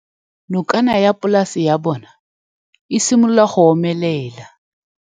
Nokana ya polase ya bona, e simolola go omelela.